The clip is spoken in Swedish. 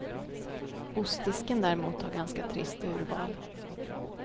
Ostdisken däremot har ganska trist urval.